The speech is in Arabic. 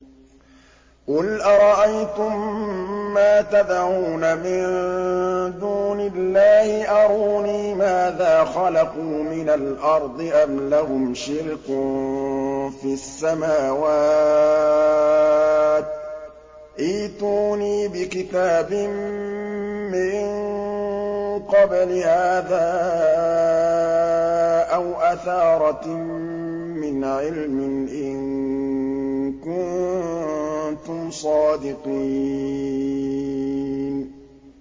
قُلْ أَرَأَيْتُم مَّا تَدْعُونَ مِن دُونِ اللَّهِ أَرُونِي مَاذَا خَلَقُوا مِنَ الْأَرْضِ أَمْ لَهُمْ شِرْكٌ فِي السَّمَاوَاتِ ۖ ائْتُونِي بِكِتَابٍ مِّن قَبْلِ هَٰذَا أَوْ أَثَارَةٍ مِّنْ عِلْمٍ إِن كُنتُمْ صَادِقِينَ